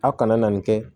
A kana na nin kɛ